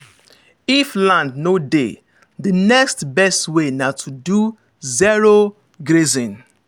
if land no dey the next best way na to do zero-grazing.